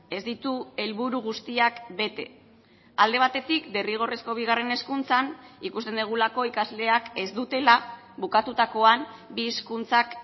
ez ditu helburu guztiak bete alde batetik derrigorrezko bigarren hezkuntzan ikusten dugulako ikasleak ez dutela bukatutakoan bi hizkuntzak